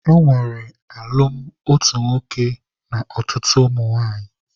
E nwere alụmalụ otu nwoke na ọtụtụ ụmụnwaanyị.